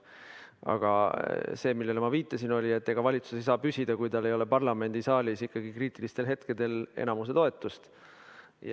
Aga see, millele ma viitasin, oli, et ega valitsus ei saa püsida, kui tal ikkagi ei ole parlamendisaalis kriitilistel hetkedel enamuse toetust.